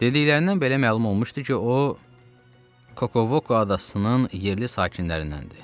Dediklərindən belə məlum olmuşdu ki, o Kokovoka adasının yerli sakinlərindəndir.